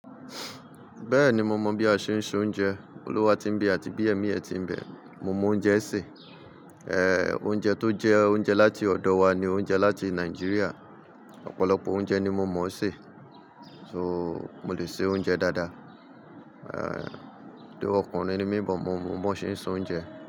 Bẹ́ẹ̀ni, mo mọ̀ bí a ṣe ń se oúnjẹ. Olúwa tí ń bẹ àti bí ẹ̀mí ẹ ti ń bẹ. Mo mọ oúnjẹ sè, oúnjẹ tó jẹ́ oúnjẹ láti ọ̀dọ̀ wa ni oúnjẹ láti Nàìjíríà. Ọ̀pọ̀lọpọ̀ oúnjẹ ni mo mọ̀ ṣe. So, mo lè ṣe oúnjẹ dáadáa. Thou ọkùnrin ni mí but mo mọ bí wọn ṣe ń se oúnjẹ.